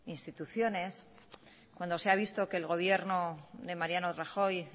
instituciones cuando se ha visto que el gobierno de mariano rajoy